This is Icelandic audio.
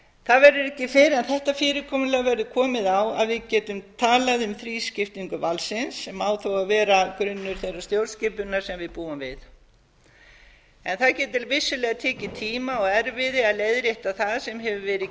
það verður ekki fyrr en þetta fyrirkomulag verður komið á að við getum talað um þrískiptingu valdsins sem á þó að vera grunnur þeirrar stjórnskipunar sem við búum við en það getur vissulega tekið tíma og erfiði að leiðrétta það sem hefur verið